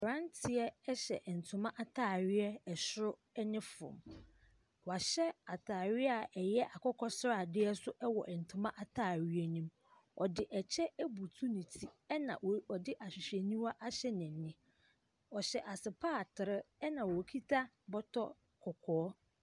Mmeranteɛ hyɛ ntoma ataare soro ne fam. Wɔahyɛ ataare a ɛyɛ akokɔsradeɛ nso wɔ ntoma ataareɛ ne mu. Ɔde kyɛ abutu ne ti na ɔde ahwehwɛniwa ahyɛ n’ani. Ɔhyɛ asepaatere na okita bɔtɔ kɔkɔɔ.